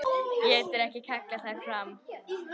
Getur ekki kallað þær fram.